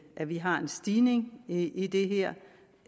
at vi har en stigning i i det her